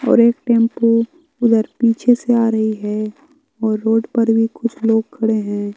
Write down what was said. और एक टेंपू उधर पीछे से आ रही है और रोड पर भी कुछ लोग खड़े हैं।